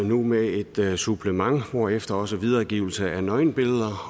nu med et supplement hvorefter også videregivelse af nøgenbilleder